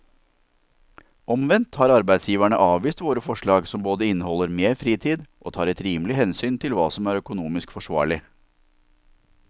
Omvendt har arbeidsgiverne avvist våre forslag som både inneholder mer fritid og tar et rimelig hensyn til hva som er økonomisk forsvarlig.